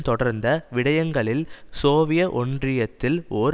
தொடர்ந்த விடயங்கங்களில் சோவியத் ஒன்றியத்தில் ஓர்